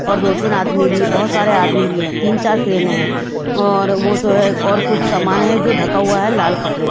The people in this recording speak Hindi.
और दो तीन आदमी भी बहुत सारे आदमी भी हैं तीन चार क्रेने हैं और वो जो हैं और कुछ सामान हैं जो ढका हुआ हैं लाल कपड़े।